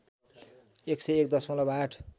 १०१ दशमलब ८